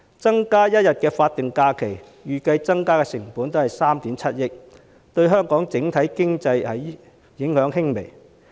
增加1天法定假日，預計增加的成本只有3億 7,000 萬元，對香港的整體經濟影響輕微。